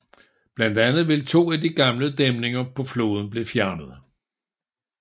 Blandt andet vil to af de gamle dæmninger på floden blive fjernet